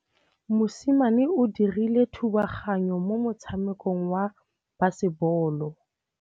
Mosimane o dirile thubaganyô mo motshamekong wa basebôlô.